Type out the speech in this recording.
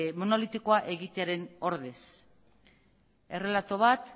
monolitikoa egitearen ordez errelato bat